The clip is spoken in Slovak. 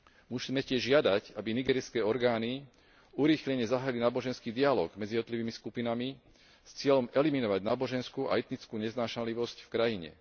Musíme tiež žiadať, aby nigérijské orgány urýchlene zahájili náboženský dialóg medzi jednotlivými skupinami s cieľom eliminovať náboženskú a etickú neznášanlivosť v krajine.